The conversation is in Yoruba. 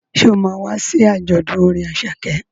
Ṣé o ma wá sí àjọ̀dún orin Àṣàkẹ́?